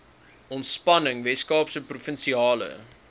ontspanning weskaapse provinsiale